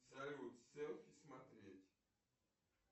салют селфи смотреть